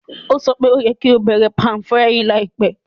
Ó sọ pe o yẹ́ ki o bẹ̀rẹ̀ pan-frying láìpẹ́